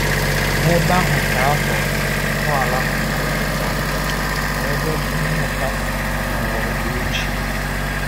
N'ebe ahụ ka ọ tọrọ ntọala obodo Alezandrịa, bụ ebe mmụta na ụwa oge ochie.